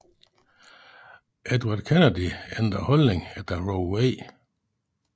Edward Kennedy ændrede holdning efter Roe v